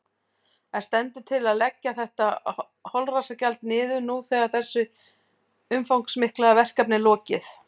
En stendur til að leggja þetta holræsagjald niður nú þegar þessu umfangsmikla verkefni er lokið?